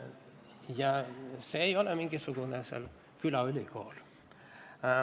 Ja see ei ole seal mingisugune külaülikool.